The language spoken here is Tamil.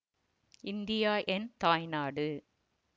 இந்தியா என் தாய் நாடு